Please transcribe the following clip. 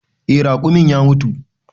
Eh, raƙumin ya mutu.